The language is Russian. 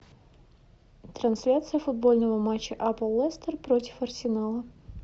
трансляция футбольного матча апл лестер против арсенала